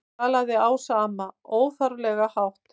galaði Ása amma, óþarflega hátt.